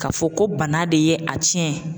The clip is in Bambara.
Ka fɔ ko bana de ye a cɛn.